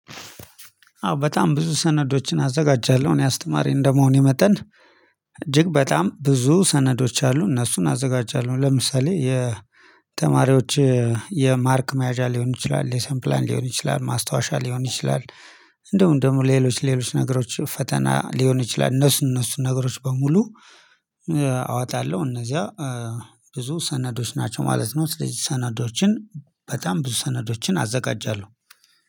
አዎ በጣም ብዙ ሰነዶችን አዘጋጃለሁ እኔ አስተማሪ እንደመሆኔ መጠን። እጅግ በጣም ብዙ ሰነዶች አሉ እነሱን አዘጋጃለሁ ለምሳሌ የተማሪዎች የማርክ መያዣ ሊሆን ይችላል ሌሰን ፕላን ሊሆን ይችላል ማስታወሻ ሊሆን ይችላል። እንደውም ደግሞ ሌሎች ሌሎች ነገሮች ፈተና ሊሆን ይችላል እነሱ እነሱን ነገሮች በሙሉ። አዋጣለሁ እነዚያ ብዙ ሰነዶች ናቸው ማለት ነው። ስለዚህ ሰነዶችን በጣም ብዙ ሰነዶችን አዘጋጃለሁ